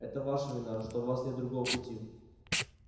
это ваша вина что у вас нет другого пути